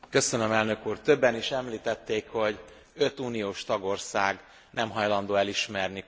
Többen is említették, hogy öt uniós tagország nem hajlandó elismerni Koszovót.